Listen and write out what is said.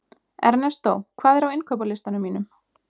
Ernestó, hvað er á innkaupalistanum mínum?